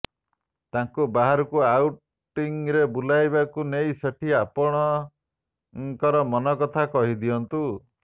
ତାଙ୍କୁ ବାହାରକୁ ଆଉଟିଙ୍ଗରେ ବୁଲାଇବାକୁ ନେଇ ସେଠି ଆପଣଙ୍କର ମନ କଥା କହି ଦିଅନ୍ତୁ